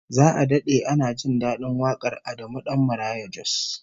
Za'a dade ana jin dadin wakar Adamu Dan Maraya Jos